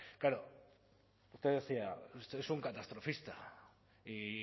claro usted decía usted es un catastrofista y